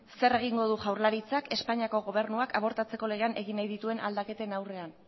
zer egingo du jaurlaritzak espainiako gobernuak abortatzeko legean egin nahi dituen aldaketen aurrean